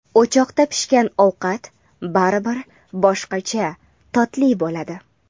O‘choqda pishgan ovqat baribir boshqacha totli bo‘ladi.